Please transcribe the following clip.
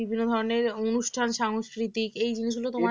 বিভিন্ন ধরনের অনুষ্ঠান সাংস্কৃতিক এই জিনিসগুলো তোমার